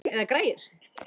Eða græjur.